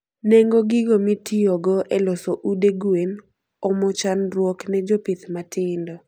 Nengo gigo mitiyoge e loso ude gwen omo chandruok ne jopith matindo